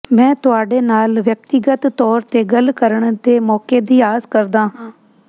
ਮੈਂ ਤੁਹਾਡੇ ਨਾਲ ਵਿਅਕਤੀਗਤ ਤੌਰ ਤੇ ਗੱਲ ਕਰਨ ਦੇ ਮੌਕੇ ਦੀ ਆਸ ਕਰਦਾ ਹਾਂ